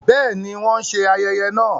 Bẹẹni, wọn n ṣe ayẹyẹ náà